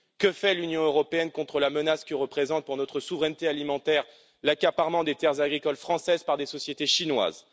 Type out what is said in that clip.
Que fait l'Union européenne contre la menace que représente pour notre souveraineté alimentaire l'accaparement des terres agricoles françaises par des sociétés chinoises?